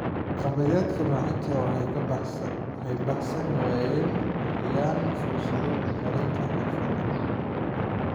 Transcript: Waxqabadyada manhajka ka baxsan waxay bixiyaan fursado horumarinta xirfadaha.